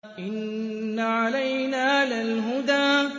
إِنَّ عَلَيْنَا لَلْهُدَىٰ